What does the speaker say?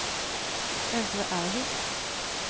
Øvre Ervik